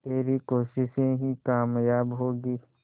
तेरी कोशिशें ही कामयाब होंगी